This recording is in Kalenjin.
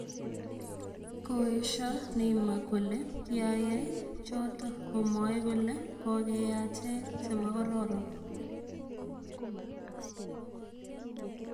Koesha Neymar kole kiayay choto komwae kole kokeyache chemokororon.